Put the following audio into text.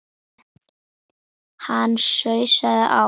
Ætlarðu á Ísland- Ítalía?